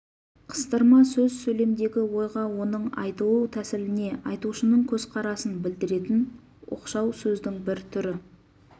қыстырма сөз сөйлемдегі ойға оның айтылу тәсіліне айтушының көзқарасын білдіретін оқшау сөздің бір түрі